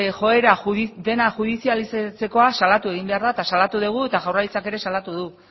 joera dena judizializatzekoa salatu egin behar da eta salatu dugu eta jaurlaritzak ere salatu du